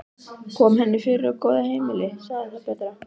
Kom henni fyrir á góðu heimili, sagði það betra.